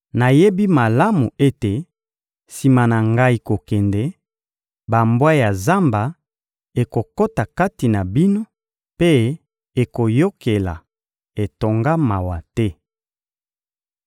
Nayebi malamu ete, sima na ngai kokende, bambwa ya zamba ekokota kati na bino mpe ekoyokela etonga mawa te.